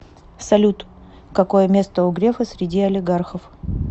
салют какое место у грефа среди олигархов